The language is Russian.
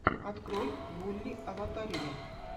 открой вулли аватария